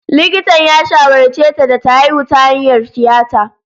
Likitan ya shawarce ta da ta haihu ta hanyar tiyata.